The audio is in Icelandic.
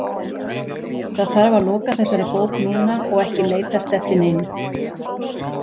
Það þarf að loka þessari bók núna og ekki leitast eftir neinu.